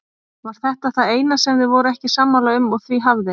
Var þetta það eina sem þau voru ekki sammála um og því hafði